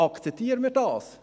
Akzeptieren wir das?